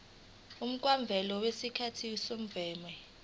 umkhawulo wesikhathi semvume